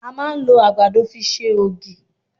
À máa ń lo àgbàdo fi ṣe ògí